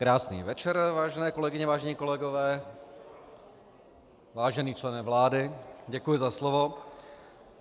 Krásný večer, vážené kolegyně, vážení kolegové, vážený člene vlády, děkuji za slovo.